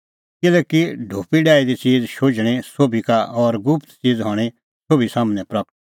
किल्हैकि ढोपी डाही दी च़ीज़ शुझणीं सोभी का और गुप्त च़ीज़ हणीं सोभी सम्हनै प्रगट